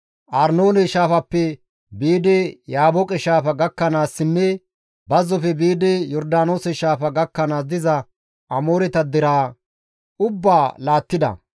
Arnoone shaafappe biidi Yaabooqe shaafa gakkanaassinne bazzofe biidi Yordaanoose shaafa gakkanaas diza Amooreta deraa ubbaa laattida.